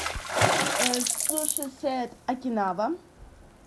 суши сет окинава